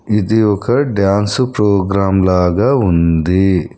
ఇది ఒక dance programme లాగా ఉంది.